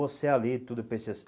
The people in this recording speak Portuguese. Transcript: Você ali, tudo, eu pensei assim.